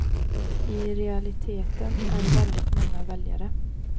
I realiteten är det väldigt många väljare.